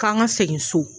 K'an ka segin so